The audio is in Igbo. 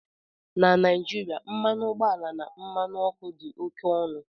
Na Naijiria, mmanụ ọgbọ ala na mmanụ ọkụ dị oke ọnụ